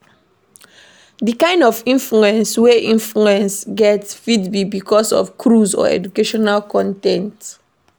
Di kind of influence wey influence get fit be because of cruise or educational con ten t